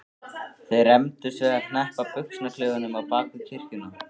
Þeir rembdust við að hneppa buxnaklaufunum á bak við kirkjuna.